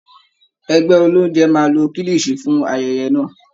Ẹgbẹ́ olóúnjẹ máa lo kílìṣìí fún ayẹyẹ náà